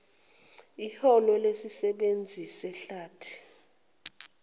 eholo lesisebenzi sehlathi